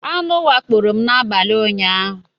Aṅụ wakporo m n'abalị ụnyaahụ.